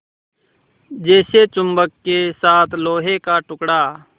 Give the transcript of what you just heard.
जैसे चुम्बक के साथ लोहे का टुकड़ा